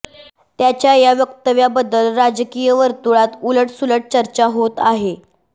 त्यांच्या या वक्तव्याबद्दल राजकीय वर्तुळात उलटसुलट चर्चा होत आहे